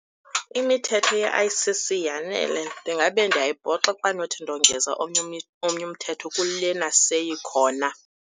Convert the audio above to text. Imithetho ye-I_C_C yanele, ndingabe ndiyayibhoxa xa ndinothi ndongeza omnye omnye umthetho kulena seyikhona.